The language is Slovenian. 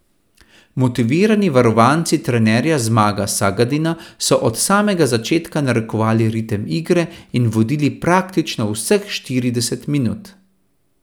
Motivirani varovanci trenerja Zmaga Sagadina so od samega začetka narekovali ritem igre in vodili praktično vseh štirideset minut.